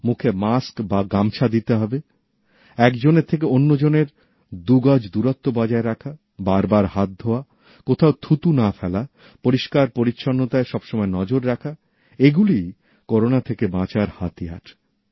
মুখে মাস্ক বা গামছা দিতে হবেএকজনের থেকে অন্যজনের দু গজ দূরত্ব বজায় রাখাবারবার হাত ধোওয়া কোথাও থুতু না ফেলাপরিষ্কার পরিচ্ছন্নতায় সবসময় নজর রাখা এগুলোই করোনা থেকে বাঁচার হাতিয়ার